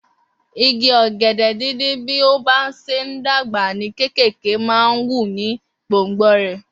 Igi ogede dín dín bí o bá ṣe n dàgbà ní kékèké man wù ní gbòngbò rè